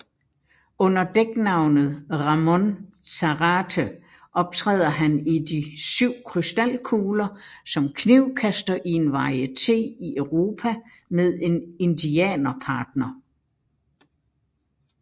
Under dæknavnet Ramon Zarate optræder han i De 7 krystalkugler som knivkaster i en varieté i Europa med en indianerpartner